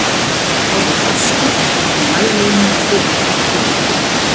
orðið örskot var sem mælieining tvö hundruð fjörutíu faðmar